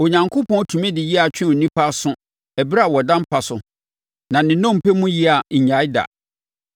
Onyankopɔn tumi de yea twe onipa aso ɛberɛ a ɔda mpa so na ne nnompe mu yea nnyae da,